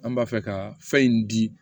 An b'a fɛ ka fɛn in di